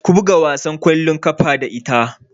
Ku buga wasan ƙwallon ƙafa da ita!